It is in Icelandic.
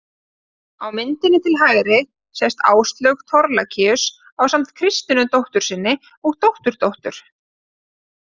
Á myndinni til hægri sést Áslaug Thorlacius ásamt Kristínu dóttur sinni og dótturdóttur.